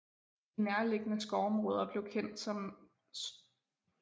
De nærliggende skovområder blev kendt kom St